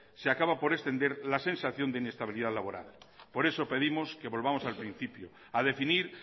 se acaba por extender la sensación de inestabilidad laboral por eso pedimos que volvamos al principio a definir